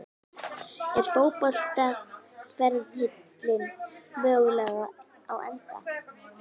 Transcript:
Er fótboltaferillinn mögulega á enda?